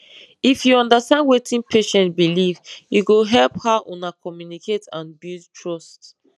if you understand wetin patient believe e go help how una communicate and build trust